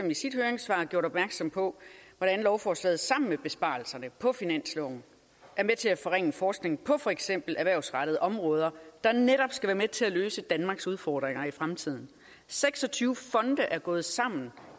i sit høringssvar gjort opmærksom på hvordan lovforslaget sammen med besparelserne på finansloven er med til at forringe forskningen på for eksempel erhvervsrettede områder der netop skal være med til at løse danmarks udfordringer i fremtiden seks og tyve fonde er gået sammen